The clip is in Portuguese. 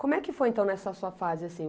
Como é que foi, então, nessa sua fase assim?